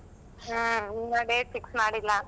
ಹುಮ್ಮ್ ಇನ್ನ date fix ಮಾಡಿಲ್ಲ.